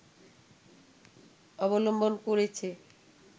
অবলম্বন করেছে